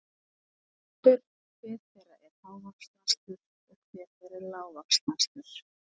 Nú er spurt, hver þeirra er hávaxnastur og hver þeirra er lágvaxnastur?